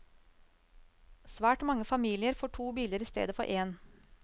Svært mange familier får to biler i stedet for én.